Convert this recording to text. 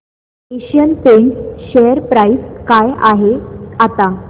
Asian Paints share price काय आहे आता